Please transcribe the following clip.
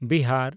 Bihar